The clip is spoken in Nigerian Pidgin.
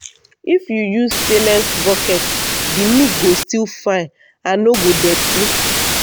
if you use stainless bucket the milk go still fine and no go dirty.